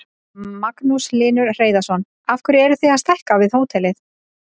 Magnús Hlynur Hreiðarsson: Af hverju eruð þið að stækka við hótelið?